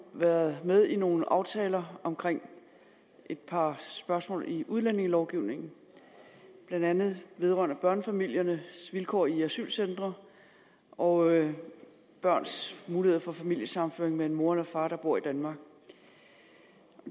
været med i nogle aftaler om et par spørgsmål i udlændingelovgivningen blandt andet vedrørende børnefamiliers vilkår i asylcentre og børns muligheder for familiesammenføring med en mor eller far der bor i danmark